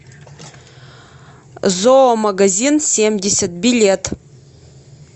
зоомагазинсемьдесят билет